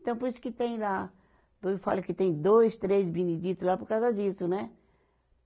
Então por isso que tem lá, eu falo que tem dois, três Benedito lá por causa disso, né?